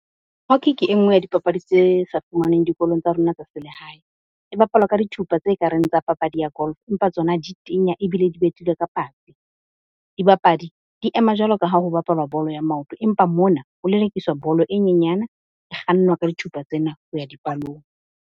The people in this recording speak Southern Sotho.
Hockey ke e nngwe ya dipapadi tse sa fumanweng dikolong tsa rona tsa selehae. Di bapalwa ka dithupa tse ka reng tsa papadi ya golf empa tsona di tenya ebile di betilwe ka patsi. Dibapadi di ema jwalo ka ha ho bapalwa bolo ya maoto empa mona ho lelekiswa bolo e nyenyana e kgannwa ka dithupa tsena, ho ya dipalong.